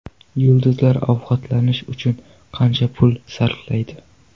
Yulduzlar ovqatlanish uchun qancha pul sarflaydi?.